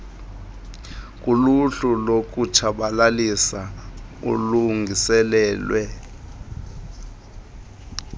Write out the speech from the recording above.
kuluhlu lokutshabalalisa olulungiselelwe